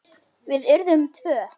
Við urðum tvö.